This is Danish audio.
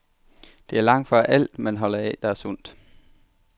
Det er langtfra alt, man holder af, der er sundt.